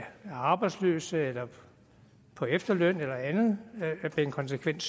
arbejdsløse eller på efterløn eller andet er konsekvent